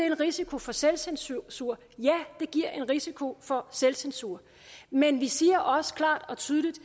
en risiko for selvcensur ja det giver en risiko for selvcensur men vi siger også klart og tydeligt